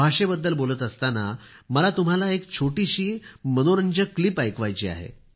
भाषेबद्दल बोलत असताना मला तुम्हाला एक छोटीशी मनोरंजक क्लिप ऐकवायची आहे